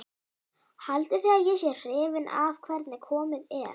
Haldið þið að ég sé hrifinn af hvernig komið er?